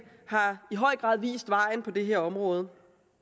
har i høj grad vist vejen på det her område